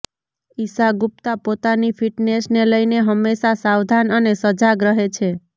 ઇશા ગુપ્તા પોતાની ફિટનેશને લઈને હમેશા સાવધાન અને સજાગ રહે છે